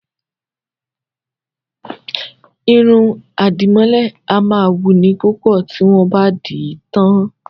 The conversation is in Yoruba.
Irun àdìmọ́lẹ̀ a máa wuni púpọ̀ tí wọ́n bá dì í tán